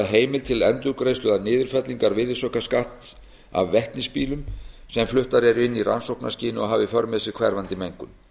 heimild til endurgreiðslu eða niðurfellingar virðisaukaskatts af vetnisbílum sem fluttir eru inn í rannsóknarskyni og hafa í för með sér hverfandi mengun